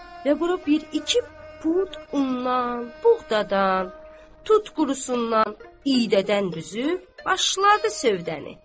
Və bura bir iki pud undan, buğdadan, tut qurusundan, iydədən düzüb başladı sövdəni.